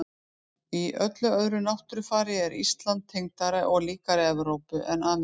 Í öllu öðru náttúrufari er Ísland tengdara og líkara Evrópu en Ameríku.